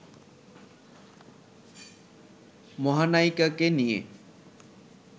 মহানায়িকাকে নিয়ে